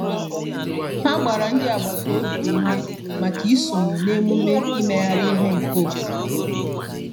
Ha gbara ndị agbata obi ume maka isonye na na emume imegharị ihe nke obodo.